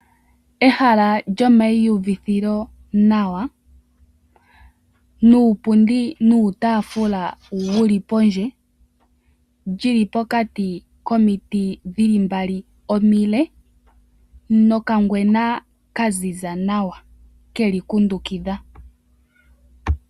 Ehala lyomaiuvitho nawa nuupundi nuutaafula wuli pondje li li pokati komiti dhili mbali omile nokangwena kaziza nawa keli kundukidha.